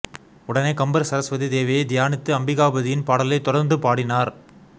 உடனே கம்பர் சரஸ்வதி தேவியை தியானித்து அம்பிகாபதியின் பாடலை தொடர்ந்து பாடினார்